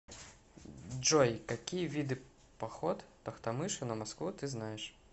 джой какие виды поход тохтамыша на москву ты знаешь